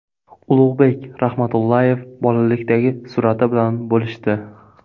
Ulug‘bek Rahmatullayev bolalikdagi surati bilan bo‘lishdi.